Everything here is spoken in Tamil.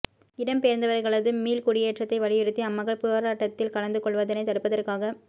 இடம்பெயர்ந்தவர்களது மீள் குடியேற்றத்தை வலியுறுத்தி அம்மக்கள் இப்போராட்டத்தில் கலந்து கொள்வதனை தடுப்பதற்காக